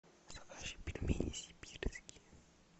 закажи пельмени сибирские